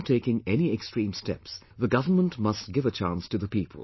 Before taking any extreme steps, the government must give a chance to the people